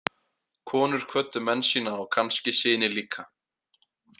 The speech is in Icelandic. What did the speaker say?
Konur kvöddu menn sína og kannski syni líka.